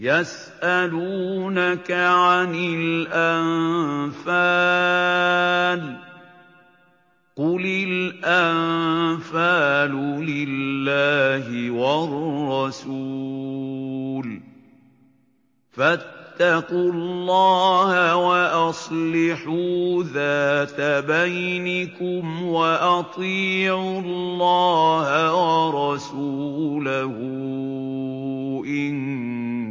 يَسْأَلُونَكَ عَنِ الْأَنفَالِ ۖ قُلِ الْأَنفَالُ لِلَّهِ وَالرَّسُولِ ۖ فَاتَّقُوا اللَّهَ وَأَصْلِحُوا ذَاتَ بَيْنِكُمْ ۖ وَأَطِيعُوا اللَّهَ وَرَسُولَهُ إِن